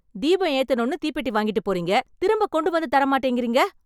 தீபம் ஏத்தணும்னு தீப்பெட்டி வாங்கிட்டுப் போறீங்க. திரும்ப கொண்டு வந்து தர மாட்டிக்கிறீங்க.